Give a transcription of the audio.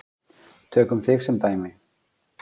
Tökum þig sem dæmi.